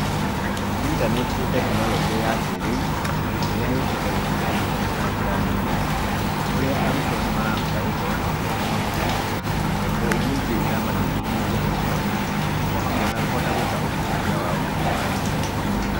Intaneti nῖ tekinoronjῖ ya kῖrῖu, ῖrῖa yῦkῖte gῦteithia githomo na njῖra, nene, kῦrῖa arῦtwo nῖmarahota gῦkorwo makῖona mabuku, na indo iria ingῖ ira mateithῖrῖrῖa gῦthoma o hamwe na kῦhota gwῖka ῦthuthuria wao thῖinῖ wa intaneti.